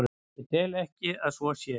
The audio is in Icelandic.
Ég tel ekki að svo sé.